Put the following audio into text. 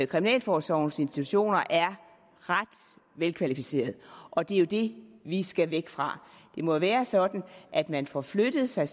kriminalforsorgens institutioner er ret velkvalificeret og det er jo det vi skal væk fra det må jo være sådan at man får flyttet sig